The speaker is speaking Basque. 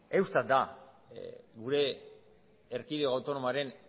eustat da gure erkidego autonomoaren